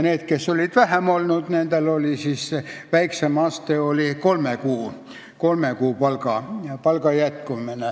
Need, kes olid vähem ametis olnud, said palka edasi kolme kuu jooksul.